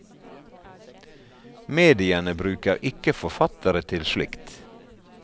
Mediene bruker ikke forfattere til slikt.